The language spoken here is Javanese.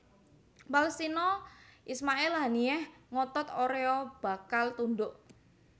Palestina Ismail Haniyeh ngotot orea bakal tundhuk